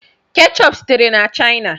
Keechup sitere na China.